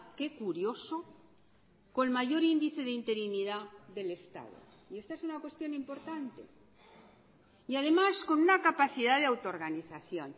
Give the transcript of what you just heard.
qué curioso con mayor índice de interinidad del estado y esta es una cuestión importante y además con una capacidad de autoorganización